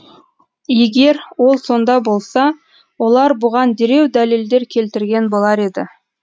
егер ол сонда болса олар бұған дереу дәлелдер келтірген болар еді